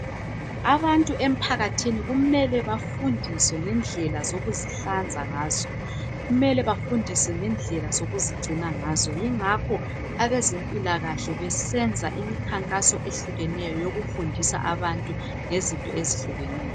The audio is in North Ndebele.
Abantu emphakathini kumele bafundiswe ngendlela zokuzihlanza ngazo, mele bafundiswe ngendlela zokuzigcina ngazo kungakho abezempilakahle besenza imikhakhanso ehlukeneyo yokufundisa abantu ngezinto ezehlukeneyo.